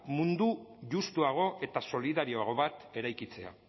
mundu justuago eta solidarioago bat eraikitzea